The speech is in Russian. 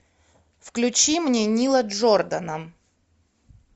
включи мне нила джордана